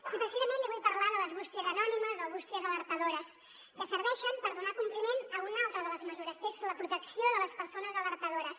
i precisament li vull parlar de les bústies anònimes o bústies alertadores que serveixen per donar compliment a una altra de les mesures que és la protecció de les persones alertadores